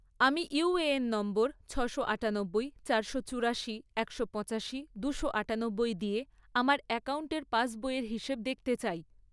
আমি UAN number ছশো আঠানব্বই, চারশো চুড়াশি, একশো পঁচাশি দুশো আঠানব্বই দিয়ে আমার অ্যাকাউন্টের পাসবইয়ের হিসেব দেখতে চাই